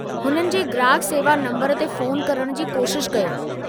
हुननि जे ग्राहकु सेवा नंबरु ते फ़ोन करणु जी कोशिश कयो।